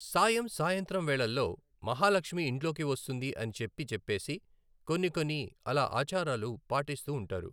సాయం సాయంత్రం వేళళ్ళో మహాలక్ష్మి ఇంట్లోకి వస్తుంది అని చెప్పి చెప్పేసి కొన్ని కొన్ని అలా ఆచారాలు పాటిస్తూ ఉంటారు.